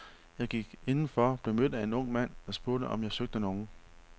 Jeg gik indenfor, blev mødt af en ung mand, der spugte, om jeg søgte nogen.